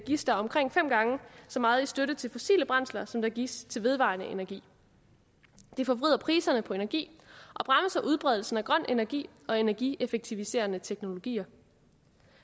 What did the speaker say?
gives der omkring fem gange så meget i støtte til fossile brændsler som der gives til vedvarende energi det forvrider priserne på energi og bremser udbredelsen af grøn energi og energieffektiviserende teknologier